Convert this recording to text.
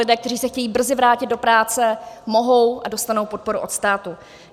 Lidé, kteří se chtějí brzy vrátit do práce, mohou a dostanou podporu od státu.